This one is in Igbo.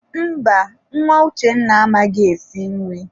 Mba, nwa Uchenna amaghị esi nri.